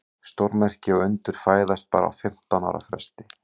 Stórmerki og undur fæðast bara á fimmtán ára fresti.